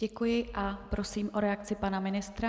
Děkuji a prosím o reakci pana ministra.